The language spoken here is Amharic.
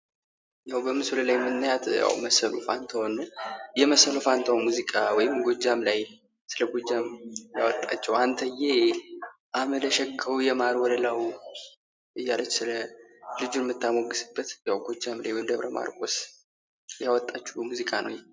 በምስሉ ላይ የምናያት መሰሉ ፈንታሁንን ነው። የመሰሉ ፈንታሁን ሙዚቃ ወይም ጎጃም ላይ ስለጎጃም ያወጣችው አንተዬ አመለ ሸጋው የማር ወለላው እያለች ስለልጁ የምታሞግስበት ጎጃም ላይ ወይም ደብረ ማርቆስ ያወጣችው ሙዚቃ ነው ይሄ።